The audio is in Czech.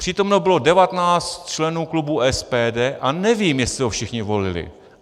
Přítomno bylo 19 členů klubu SPD a nevím, jestli ho všichni volili.